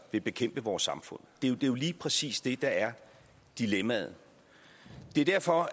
vil bekæmpe vores samfund det er jo lige præcis det der er dilemmaet det er derfor